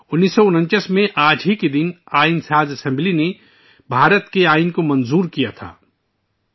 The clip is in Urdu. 1949 ء میں آج ہی کے دن ، آئین ساز اسمبلی نے بھارت کے آئین کو منظور کیا تھا اور اسے اختیار کیا تھا